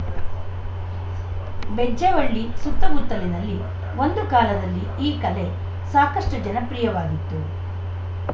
ಬೆಜ್ಜವಳ್ಳಿ ಸುತ್ತಮುತ್ತಲಿನಲ್ಲಿ ಒಂದು ಕಾಲದಲ್ಲಿ ಈ ಕಲೆ ಸಾಕಷ್ಟುಜನಪ್ರಿಯವಾಗಿತ್ತು